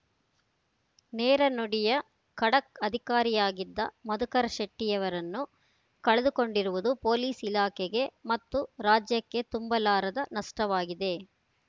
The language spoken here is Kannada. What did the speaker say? ನೇರ ನುಡಿಯ ಖಡಕ್‌ ಅಧಿಕಾರಿಯಾಗಿದ್ದ ಮಧುಕರ ಶೆಟ್ಟಿಯವರನ್ನು ಕಳೆದುಕೊಂಡಿರುವುದು ಪೊಲೀಸ್‌ ಇಲಾಖೆಗೆ ಮತ್ತು ರಾಜ್ಯಕ್ಕೆ ತುಂಬಲಾರದ ನಷ್ಟವಾಗಿದೆ